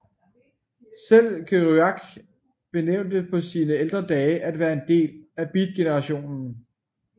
Selv Kerouac benægtede på sine ældre dage at være en del af beatgenerationen